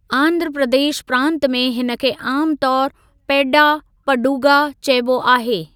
आंध्र प्रदेश प्रांत में हिनखे आम तौर पेड्डा पंडुगा चइबो आहे।